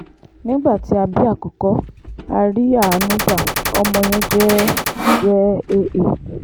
nígbà tí a bí àkókò a rí àánú gba ọmọ yẹn jẹ́ jẹ́ aa